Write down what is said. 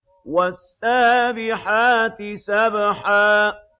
وَالسَّابِحَاتِ سَبْحًا